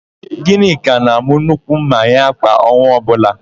Gịnịka na-àmụ́ nnukwu ḿmà ya kwa ọnwa ọbụla.